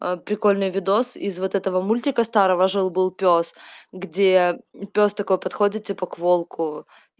прикольный видос из вот этого мультика старого жил-был пёс где пёс такой подходит типа к волку